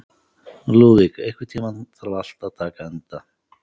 Lúðvík, einhvern tímann þarf allt að taka enda.